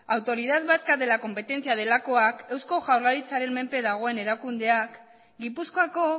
autoridad vasca de la competencia delakoak eusko jaurlaritzaren menpe dagoen erakundeak gipuzkoako